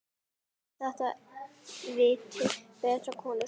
Þetta vita breskar konur.